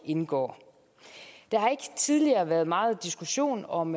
indgår der har ikke tidligere været meget diskussion om